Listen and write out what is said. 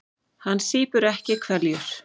Hann sýpur ekki hveljur.